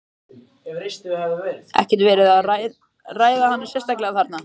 Fréttamaður: Ekkert verið að ræða hana sérstaklega þarna?